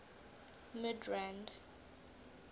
midrand